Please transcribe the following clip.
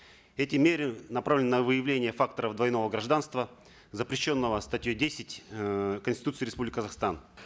эти меры направлены на выявление факторов двойного гражданства запрещенного статьей десять эээ конституции республики казахстан